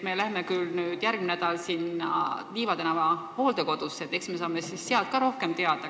Me läheme küll järgmine nädal Liiva tänava hooldekodusse, eks me saame siis seal ka rohkem teada.